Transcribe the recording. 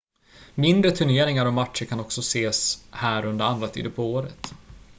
mindre turneringar och matcher kan också ses här under andra tider på året